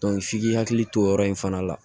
f'i k'i hakili to o yɔrɔ in fana la